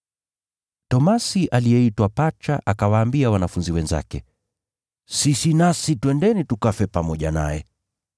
Tomaso aliyeitwa Pacha akawaambia wanafunzi wenzake, “Sisi nasi twendeni tukafe pamoja naye.”